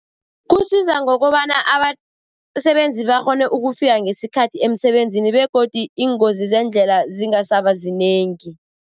Kusiza ngokobana abasebenzi bakghone ukufika ngesikhathi emsebenzini, begodu iingozi zeendlela zingasaba zinengi.